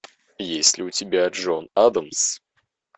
есть ли у тебя джон адамс